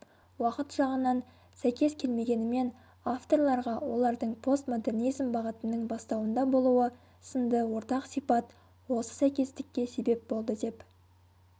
уақыт жағынан сәйкес келмегенімен авторларға олардың постмодернизм бағытының бастауында болуы сынды ортақ сипат осы сәйкестікке себеп болды деп